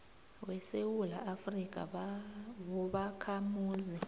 wesewula afrika wobakhamuzi